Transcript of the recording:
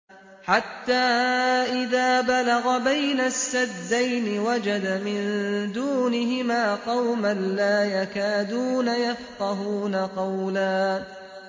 حَتَّىٰ إِذَا بَلَغَ بَيْنَ السَّدَّيْنِ وَجَدَ مِن دُونِهِمَا قَوْمًا لَّا يَكَادُونَ يَفْقَهُونَ قَوْلًا